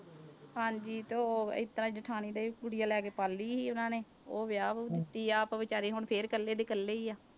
ਹਾਂਜੀ ਤੇ ਉਹ ਇਸ ਤਰ੍ਹਾਂ ਜੇਠਾਣੀ ਦੇ ਕੁੜੀਆਂ ਲੈ ਕੇ ਪਾਲੀ ਸੀ ਉਹਨਾਂ ਨੇ, ਉਹ ਵਿਆਹ ਵਿਊਹ ਦਿੱਤੀ, ਆਪ ਬੇਚਾਰੀ ਹੁਣ ਫਿਰ ਇਕੱਲੇ ਦੇ ਇਕੱਲੇ ਹੀ ਆ।